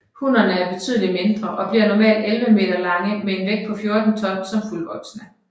Hunnerne er betydeligt mindre og bliver normalt 11 meter lange med en vægt på 14 ton som fuldvoksne